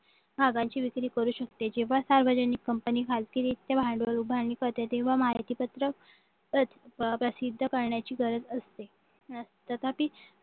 भागाची विक्री करू शकते जेव्हा सार्वजनिक कंपनी भांडवल उभारणी करते तेव्हा माहिती पत्र प्रसिद्ध करण्याची गरज असते तथापि